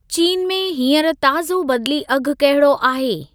चीन में हींअर ताज़ो बदिली अघु कहिड़ो आहे?